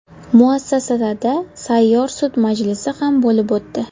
Muassasada sayyor sud majlisi ham bo‘lib o‘tdi.